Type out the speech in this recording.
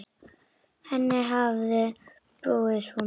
Henni hafði brugðið svo mikið.